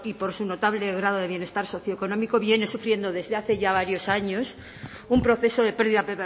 por su notable grado de bienestar socioeconómico viene sufriendo desde hace ya varios años un proceso de pérdida